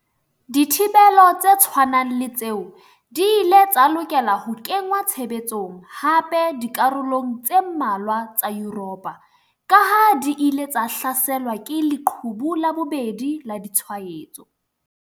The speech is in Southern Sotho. Dithibelo tse tshwanang le tseo di ile tsa lokela ho kenngwa tshebetsong hape dikarolong tse mmalwa tsa Yuropa kaha di ile tsa hlaselwa ke 'leqhubu la bobedi' la ditshwaetso.